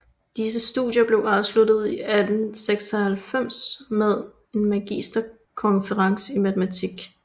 Disse studier blev afsluttet i 1896 med en magisterkonferens i matematik